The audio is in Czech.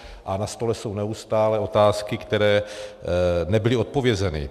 A na stole jsou neustále otázky, které nebyly odpovězeny.